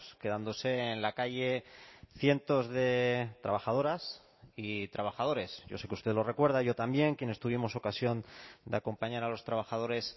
quedándose en la calle cientos de trabajadoras y trabajadores yo sé que usted lo recuerda yo también quienes tuvimos ocasión de acompañar a los trabajadores